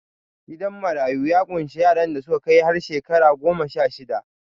Gidan marayu ya ƙunshi yaran da suka kai har shekara goma-sha-shida